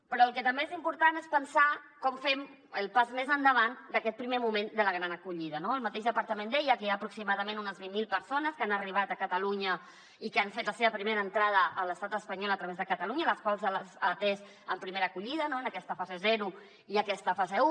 però el que també és important és pensar com fem el pas més endavant d’aquest primer moment de la gran acollida no el mateix departament deia que hi ha aproximadament unes vint mil persones que han arribat a catalunya i que han fet la seva primera entrada a l’estat espanyol a través de catalunya a les quals s’ha atès en primera acollida en aquesta fase zero i aquesta fase un